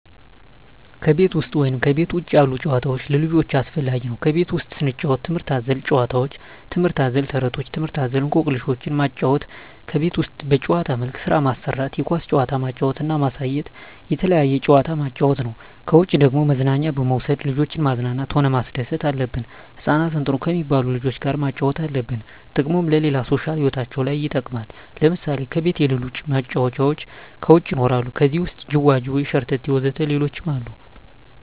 ከቤት ውሰጥ ወይም ከቤት ውጭ ያሉ ጭዋታዎች ለልጆቻቸው አስፈላጊ ነው ከቤት ውስጥ ስንጫወት ትምህርት አዘል ጫውውቶች ትምህርት አዘል ተረቶች ትምህርት አዘል እኮክልሾችን ማጫወት ከቤት ውስጥ በጭዋታ መልክ ስራ ማሰራት የኳስ ጭዋታ ማጫወት እና ማሳየት የተለያየ ጭዋታ ማጫወት ነው ከውጭ ደግሞ መዝናኛ በመውሰድ ልጆችን ማዝናናት ሆነ ማስደሰት አለብን ህጻናትን ጥሩ ከሜባሉ ልጆች ጋር ማጫወት አለብን ጥቅሙም ለሌላ ሦሻል ህይወታቸው ለይ ይጠቅማል ለምሳሌ ከቤት የለሉ መጫወቻ ከውጭ ይኖራሉ ከዜህ ውሰጥ ጅዋጅዌ ሸረተቴ ወዘተ ሌሎችም አሉ